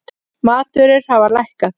Matvörur hafa lækkað